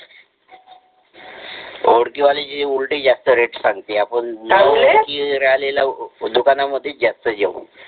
ओळखी वालेच उलटे जास्ती rate सांगते आपण न ओळखी राहिलेल्याच दुकानांमध्ये जास्ती जाऊ